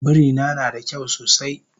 Birina nada kyau sosai